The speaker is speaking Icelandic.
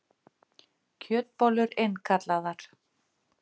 Kjötbollur innkallaðar